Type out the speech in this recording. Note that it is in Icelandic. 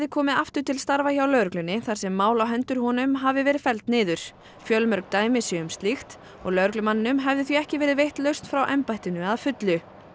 komið aftur til starfa hjá lögreglunni þar sem mál á hendur honum hafi verið felld niður fjölmörg dæmi séu um slíkt og lögreglumanninum hafi því ekki verið veitt lausn frá embættinu að fullu